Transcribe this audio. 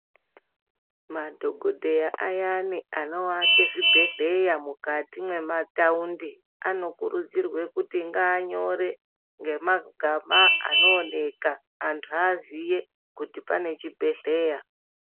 Madhokodheya ayani anoake zvibhedhleya mukati mwemataundi anokurudzirwe kuti ngaanyore ngemagama anooneka antu aziye kuti pane chibhedhleya .